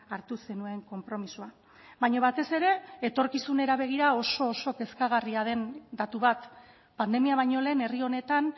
hartu zenuen konpromisoa baina batez ere etorkizunera begira oso oso kezkagarria den datu bat pandemia baino lehen herri honetan